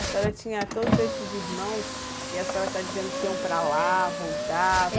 A senhora tinha todos esses irmãos e a senhora está dizendo que iam para lá, voltavam.